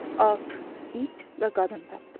At, it və qadın tapdı.